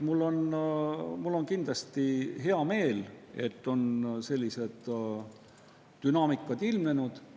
Mul on kindlasti hea meel, et sellised dünaamikad on ilmnenud.